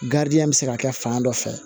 bɛ se ka kɛ fan dɔ fɛ